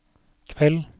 kveld